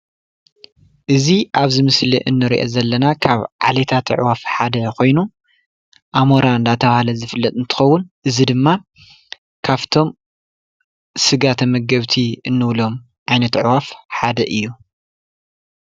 እዚ ኣብዚ ምስሊ እንሪኦ ዘለና ካብ ዓሌታት ኣዕዋፍ ሓደ ኮይኑ ኣሞራ እንዳተብሃለ ዝፍለጥ እንትኸዉን እዚ ድማ ካፍቶም ስጋ ተመገብቲ እንብሎም ዓይነት ኣዕዋፍ ሓደ እዩ።